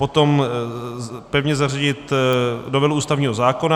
Potom pevně zařadit novelu ústavního zákona.